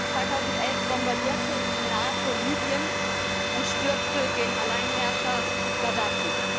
2011 bombardierte die NATO Libyen und stürzte den Alleinherrscher Gaddafi.